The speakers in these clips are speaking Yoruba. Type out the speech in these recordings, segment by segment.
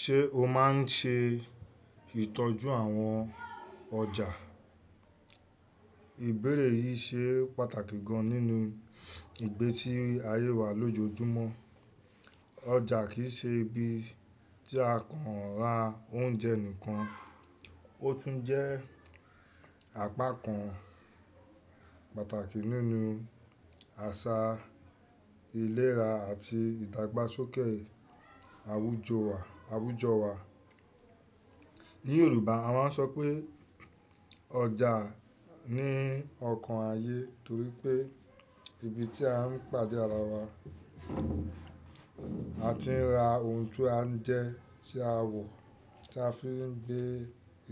Ṣé o máa ń ṣe ìtọ́jú àwọn ọjà? Ìbéèrè yìí ṣe pàtàkì gan nínú ìgbésí ayé wa lójoojúmọ́. Ọjà kì í ṣe ibi tí a kàn ra oúnjẹ nìkan, ó tún jẹ́ apakan pàtàkì nínú àṣà, ìlera àti ìdàgbàsókè àwùjọ wa. Ni Yorùbá a máa ń sọ pé ọjà ni ọkan ayé torí pé ibi tí a ń pàdé ara wa. A ti ra ohun tí a ń jẹ, tí a wọ̀, tí a fi ń gbé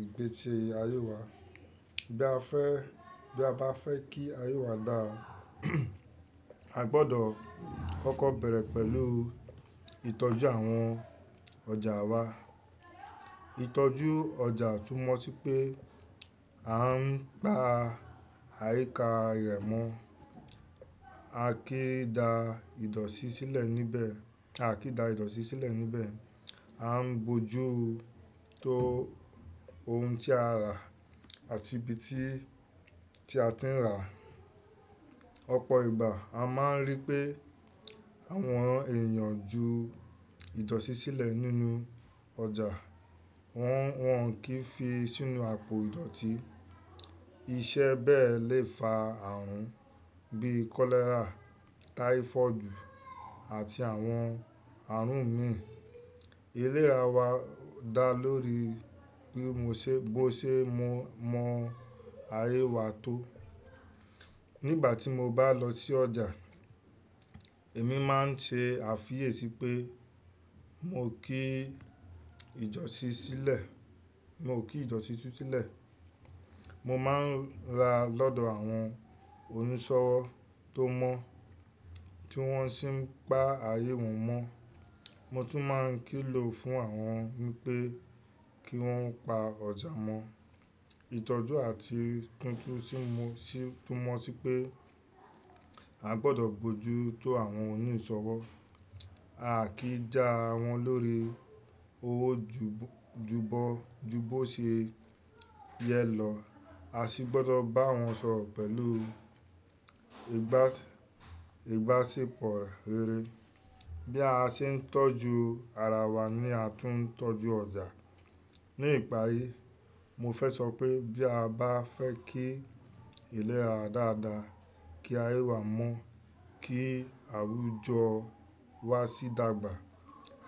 ìgbé si ayé wa. Bí a fẹ́, bí a bá fẹ́ kí ayé wa dà, a gbọdọ̀ kọ́kọ́ bẹ̀rẹ̀ pẹ̀lú ìtọ́jú àwọn ọjà wa. Ìtọ́jú ọjà túmọ̀ sí pé a ń pa àyíká irẹmọ, a kì í da ìdọ̀tí sílẹ̀ níbẹ̀, a kì í da ìdọ̀tí sílẹ̀ níbẹ̀, a ń bojú tó ohun tí a rà àti ibi tí, tí a ti rà. Ọ̀pọ̀ ìgbà a máa ń rí pé àwọn èèyàn ju ìdọ̀tí sílẹ̀ nínú ọjà, wọ́n kì í fi sínú àpò ìdọ̀tí. Iṣẹ́ bẹ́ẹ̀ lè fa àrùn bí kọ́lẹ́rà, táífọ́ọ̀dù àti àwọn àrùn míì. Ìlera wa dà lórí bí mo ṣe, bó ṣe mọ, mọ ayé wa tó. Nígbà tí mo bá lọ sí ọjà, èmi máa ń ṣe àfiyèsí pé mo kì í ìdọ̀tí sílẹ̀, mo ò kí ìdọ̀tí ti sílẹ̀. Mo máa ń ra lọ́dọ̀ àwọn oníṣọ̀wọ̀ tó mọ̀ tí wọ́n sì ń pa ayé wọn mọ́. Mo tún máa ń kìlọ̀ fún àwọn pé kí wọ́n pa ọjà mọ́. Ìtọ́jú àti tuntun tì mú, túmọ̀ sí pé a gbọdọ̀ bojú tó àwọn oníṣọ̀wọ̀, a kì í já wọn lórí owó júbọ, jú bó ṣe yẹ lọ. A sì gbọdọ̀ bá wọn sọ̀rọ̀ pẹ̀lú ìbásepọ̀ rere. Bí a ṣe ń tọ́jú ara wa ni a tún ń tọ́jú ọjà. Ní ìparí, mo fẹ́ sọ pé bí a bá fẹ́ kí ìlera dára dára, kí ayé wa mọ́, kí àwùjọ wa sì dàgbà,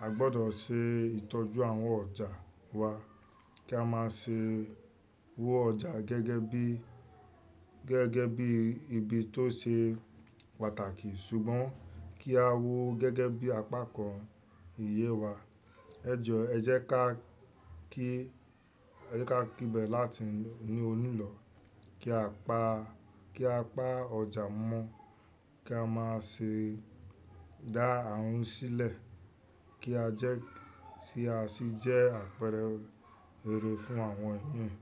a gbọdọ̀ ṣe ìtọ́jú àwọn ọjà wa kí a máa ṣe wo ọjà gẹ́gẹ́ bí, gẹ́gẹ́ bí ibi tó ṣe pàtàkì. Ṣùgbọ́n kí a wo gẹ́gẹ́ bí apakan iye wa. Ẹ jọ, ẹ jẹ́ ká kí, ẹ jẹ́ ká kí bẹ̀ láti ní òní lọ kí a pa, kí a pa ọjà mọ́, kí a máa ṣe dá àrùn sílẹ̀, kí a jẹ́ tí a sì jẹ́ àpẹẹrẹ rere fún àwọn èèyàn.